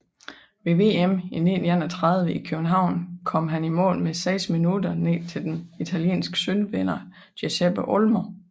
Ved VM i 1931 i København kom han i mål med seks minutter ned til den italienske sølvvinder Giuseppe Olmo